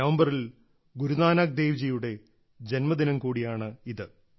നവംബറിൽ ഗുരുനാനാക്ക് ദേവ്ജിയുടെ ജന്മദിനം കൂടിയാണിത്